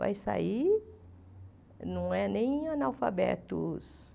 Vai sair, não é nem analfabetos.